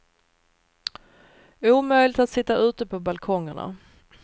Omöjligt att sitta ute på balkongerna.